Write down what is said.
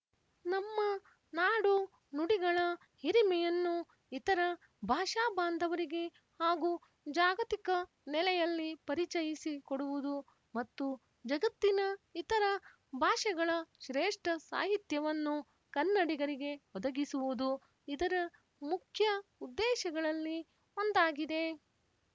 ನಮ್ಮ ನಾಡುನುಡಿಗಳ ಹಿರಿಮೆಯನ್ನು ಇತರ ಭಾಷಾಬಾಂಧವರಿಗೆ ಹಾಗೂ ಜಾಗತಿಕ ನೆಲೆಯಲ್ಲಿ ಪರಿಚಯಿಸಿ ಕೊಡುವುದು ಮತ್ತು ಜಗತ್ತಿನ ಇತರ ಭಾಷೆಗಳ ಶ್ರೇಷ್ಠ ಸಾಹಿತ್ಯವನ್ನು ಕನ್ನಡಿಗರಿಗೆ ಒದಗಿಸುವುದು ಇದರ ಮುಖ್ಯ ಉದ್ದೇಶಗಳಲ್ಲಿ ಒಂದಾಗಿದೆ